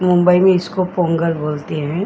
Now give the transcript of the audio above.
मुंबई में इसको पोंगल बोलते हैं।